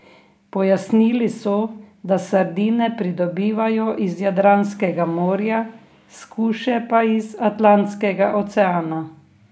Pojasnili so, da sardine pridobivajo iz Jadranskega morja, skuše pa iz Atlantskega oceana.